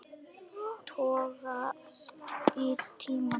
Toga í tímann.